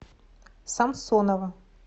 самсонова